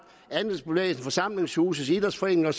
andelsbevægelser forsamlingshuse idrætsforeninger